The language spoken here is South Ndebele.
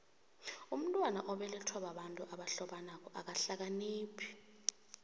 umntwana obelethwa babantu abahlobanako akahlakaniphi